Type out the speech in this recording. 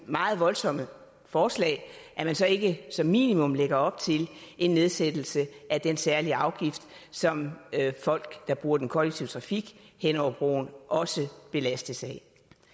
meget voldsomme forslag så ikke som minimum lægger op til en nedsættelse af den særlige afgift som folk der bruger den kollektive trafik hen over broen også belastes af